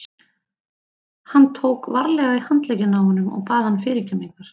Hann tók varlega í handlegginn á honum og bað hann fyrirgefningar.